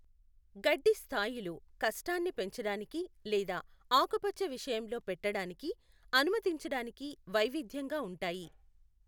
గడ్డి స్థాయిలు కష్టాన్ని పెంచడానికి లేదా ఆకుపచ్చ విషయంలో పెట్టడానికి అనుమతించడానికి వైవిధ్యంగా ఉంటాయి.